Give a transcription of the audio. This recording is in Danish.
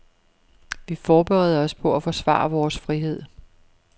Vi forbereder os på at forsvare vores frihed.